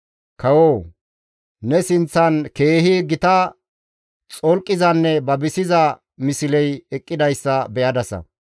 «Kawoo! Ne sinththan keehi gita xolqizanne babisiza misley eqqidayssa be7adasa.